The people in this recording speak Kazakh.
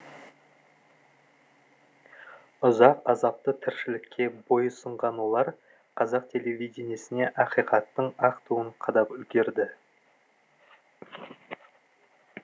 ұзақ азапты тіршілікке бойұсынған олар қазақ телевидениесіне ақиқаттың ақ туын қадап үлгерді